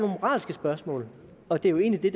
moralske spørgsmål og det er jo egentlig